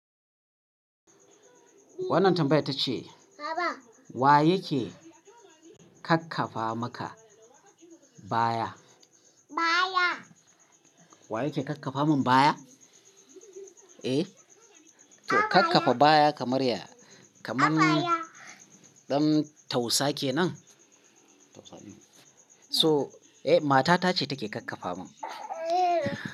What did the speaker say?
Wannan tambayar ta ce, wa yake kakkafa maka baya? Wa yake kakkafa mun baya? Eh, to kakkafa baya kamar yaya, kaman ɗan tausa kenan. So, eh matata ce take kakkafa mun.